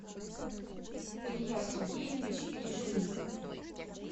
илья сергеевич лежнин